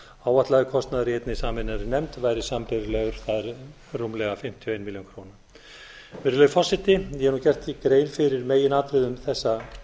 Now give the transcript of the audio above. áætlaður kostnaður í einni sameinaðri nefnd væri sambærilegur það er rúmlega fimmtíu og eina milljón króna virðulegur forseti ég hef nú gert hér grein fyrir meginatriðum þessa